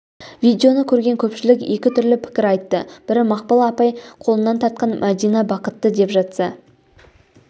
видеоны көрген көпшілік екі түрлі пікір айтты бірі мақпал апай қолынан тартқан мәдина бақытты деп жатса